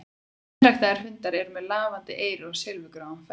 Hreinræktaðir hundar eru með lafandi eyru og silfurgráan feld.